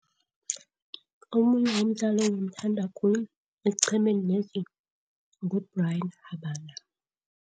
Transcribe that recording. Omunye umdlali engimthanda khulu esiqhemeni lesi nguBryan Habana.